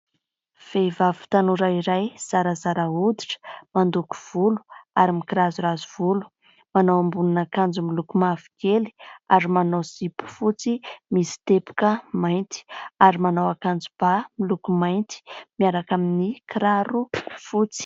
Vehivavy tanora iray zarazara hoditra, mandoko volo ary mikirazorazo volo. Manao ambonin'akanjo miloko mavokely ary manao zipo fotsy misy teboka mainty ary manao akanjo ba miloko mainty miaraka amin'ny kiraro fotsy.